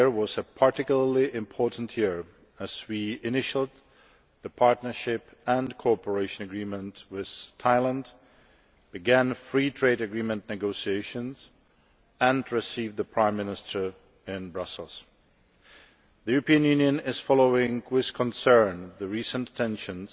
Last year was a particularly important year, as we initialled the Partnership and Cooperation Agreement with Thailand, began free trade agreement negotiations, and received the Prime Minister in Brussels. The European Union is following with concern the recent tensions